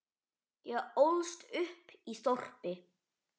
Ég ólst upp í þorpi.